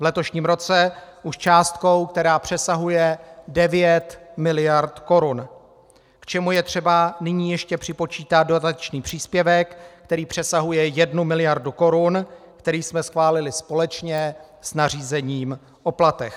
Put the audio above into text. V letošním roce už částkou, která přesahuje 9 miliard korun, k čemu je třeba nyní ještě připočítat dodatečný příspěvek, který přesahuje 1 miliardu korun, který jsme schválili společně s nařízením o platech.